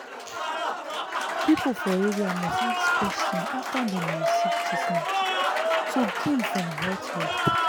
people for area must ask question after dem receive treatment to gain from health help.